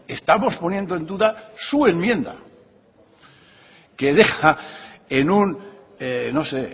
estamos poniendo en duda su enmienda que deja en un no sé